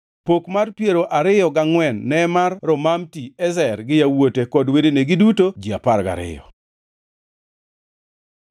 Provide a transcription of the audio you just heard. Pok mar piero gangʼwen ne mar Romamti-Ezer gi yawuote kod wedene, giduto ji apar gariyo.